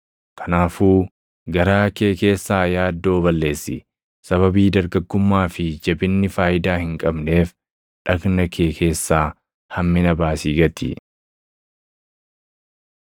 Kanaafuu garaa kee keessaa yaaddoo balleessi; sababii dargaggummaa fi jabinni faayidaa hin qabneef dhagna kee keessaa hammina baasii gati.